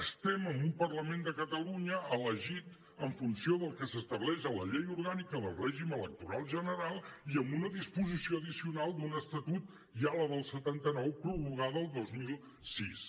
estem en un parlament de catalunya elegit en funció del que s’estableix a la llei orgànica del règim electoral general i en una disposició addicional de l’estatut ja la del setanta nou prorrogada el dos mil sis